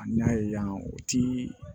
A n'a ye yan u ti